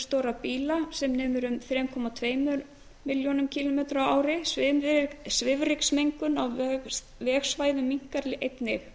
stórra bíla sem nemur um þrjú komma tveimur milljónum kílómetra á ári svifryksmengun á vegsvæðum minnkar einnig